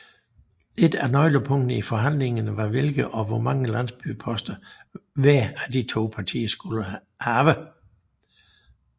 Et af nøglepunkterne i forhandlingerne var hvilke og hvor mange landsstyreposter hver af de to partier skulle have